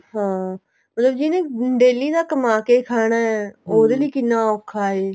ਹਾਂ ਮਤਲਬ ਜਿਹਨੇ daily ਦਾ ਕੰਮਾ ਕੇ ਖਾਣਾ ਲਈ ਕਿੰਨਾ ਔਖਾ ਏ